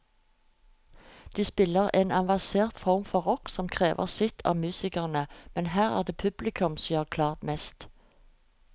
De spiller en avansert form for rock som krever sitt av musikerne, men her er det publikum som gir klart mest.